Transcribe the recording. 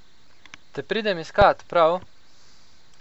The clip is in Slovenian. Te pridem iskat, prav?